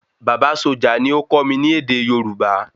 Bàbá sójà ni ó kó mi ní èdè Yorùbá